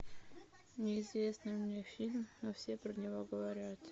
неизвестный мне фильм но все про него говорят